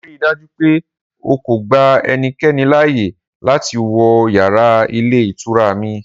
Rii daju pe o ko gba ẹnikẹni laaye lati wọ yara ilé ìtura mi!